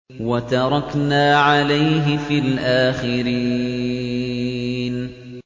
وَتَرَكْنَا عَلَيْهِ فِي الْآخِرِينَ